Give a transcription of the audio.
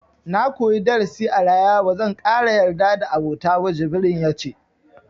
Na koyi darasi a rayuwa, ba zan ƙara yarda da abota ba, jibrin ya ce.